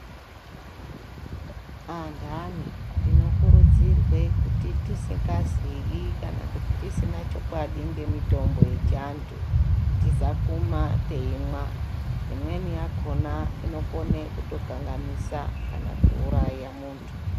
Andani tinokurudzirwe kuti tisingaziyi kana kuti tisina chokwadi ngemitombo yechiantu. Tisakuma teimwa imweni yakona inokone kutokanganisa kana kuuraya muntu.